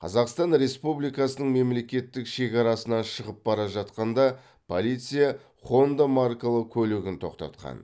қазақстан республикасының мемлекеттік шекарасынан шығып бара жатқанда полиция хонда маркалы көлігін тоқтатқан